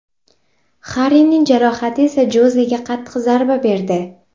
Harrining jarohati esa Jozega qattiq zarba berdi.